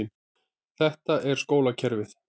Þetta er skólakerfið.